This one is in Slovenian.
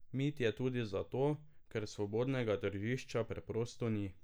Mit je tudi zato, ker svobodnega tržišča preprosto ni.